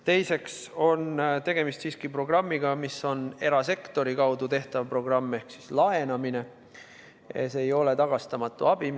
Teiseks on tegemist siiski erasektori kaudu tehtava programmiga ehk laenamisega, see ei ole tagastamatu abi.